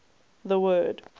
the word